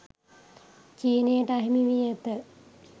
චීනයට අහිමි වී ඇත